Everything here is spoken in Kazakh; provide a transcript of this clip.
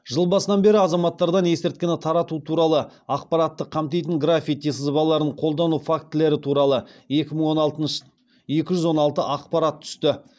жыл басынан бері азаматтардан есірткіні тарату туралы ақпаратты қамтитын граффити сызбаларын қолдану фактілері туралы екі жүз он алты ақпарат түсті